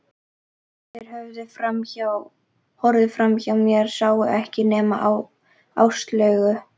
Þeir horfðu framhjá mér, sáu ekkert nema Áslaugu.